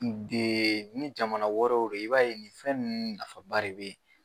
Ni jamana wɛrɛw do i b'a ye nin fɛn ninnu nafaba de bɛ ye.